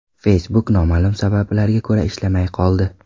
Facebook noma’lum sabablarga ko‘ra ishlamay qoldi.